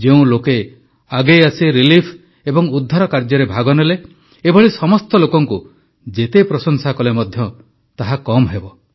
ଯେଉଁ ଲୋକେ ଆଗେଇ ଆସି ରିଲିଫ ଏବଂ ଉଦ୍ଧାର କାର୍ଯ୍ୟରେ ଭାଗ ନେଲେ ଏଭଳି ସମସ୍ତ ଲୋକଙ୍କୁ ଯେତେ ପ୍ରଶଂସା କଲେ ମଧ୍ୟ ତାହା କମ୍ ହେବ